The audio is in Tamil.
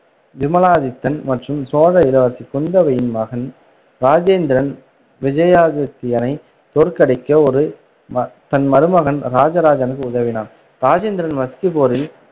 விமலாதித்தன் மற்றும் சோழ இளவரசி குந்தவையின் மகன் ராஜேந்திரன் விஜயாதித்தியனை தோற்கடிக்க ஒரு தன் மருமகன் ராஜராஜனுக்கு உதவினான் ராஜேந்திரன் மஸ்கி போரில்